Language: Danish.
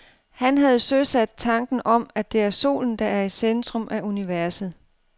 Han havde søsat tanken om, at det er solen, der er i centrum af universet.